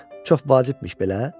Çox vacibmiş belə?